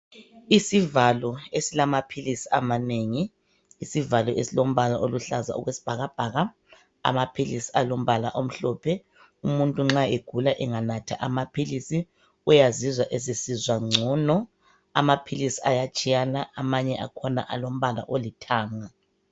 Isivalo esilamaphilisi amanengi isivalo esilombala oluhlaza okwesibhakabhaka amaphilisi alombala omhlophe umuntu nxa egula enganatha amaphilisi uyazizwa esesizwa ngcono amaphilisi ayatshiyana amanye akhona alombala olithanga.